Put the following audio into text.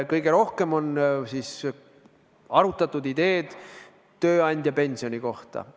Kõige rohkem on arutatud tööandjapensioni ideed.